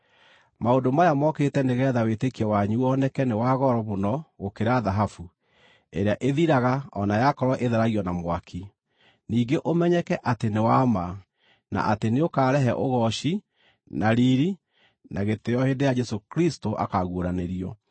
Maũndũ maya mokĩte nĩgeetha wĩtĩkio wanyu woneke nĩ wa goro mũno gũkĩra thahabu, ĩrĩa ĩthiraga o na yakorwo ĩtheragio na mwaki, ningĩ ũmenyeke atĩ nĩ wa ma, na atĩ nĩũkarehe ũgooci, na riiri, na gĩtĩĩo hĩndĩ ĩrĩa Jesũ Kristũ akaaguũranĩrio.